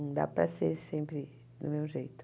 Não dá para ser sempre do meu jeito.